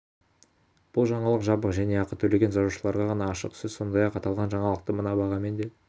бұл жаңалық жабық және ақы төлеген жазылушыларға ғана ашық сіз сондай-ақ аталған жаңалықты мына бағамен де